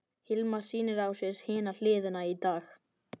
Hilmar sýnir á sér hina hliðina í dag.